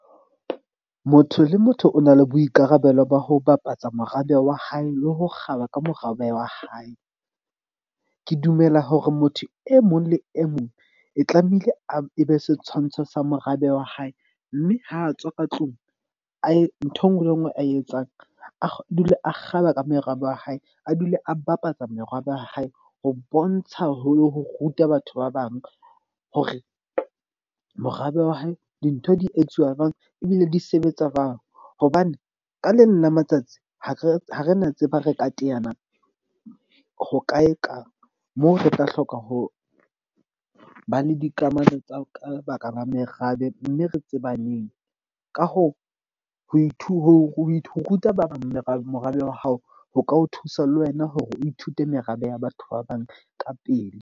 Motho le motho o na le boikarabelo ba ho bapatsa morabe wa hae le ho kgaba ka morabe wa hae. Ke dumela hore motho e mong le e mong e tlamehile a be setshwantsho sa morabe wa hae, mme ha a tswa ka tlung a e ntho e nngwe le e nngwe a e etsang, a dule, a kgaba ka merabe wa hae. A dule a bapatsa merabe ya hae. Ho bontsha haholo ho ruta batho ba bang hore morabe wa hae dintho di etsuwa jwang, ebile di sebetsa jwang. Hobane ka leng la matsatsi ha re ha re na tseba re ka teana ho ka e kang. Moo re tla hloka ho ba le dikamano tsa ka lebaka la merabe. Mme re tsebaneng ka hoo, ho ho ruta ba bang merabe morabe wa hao, ho ka o thusa le wena hore o ithute merabe ya batho ba bang ka pele.